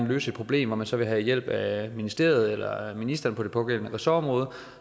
løse et problem hvor man så vil have hjælp af ministeriet eller ministeren på det pågældende ressortområde